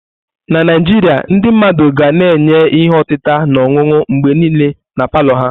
Na Naijiria, ndị mmadụ ga na-enye ihe otita na ọṅụṅụ mgbe niile na palọ ha.